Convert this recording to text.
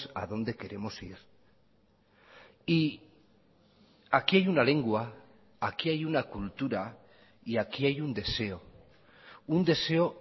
a dónde queremos ir y aquí hay una lengua aquí hay una cultura y aquí hay un deseo un deseo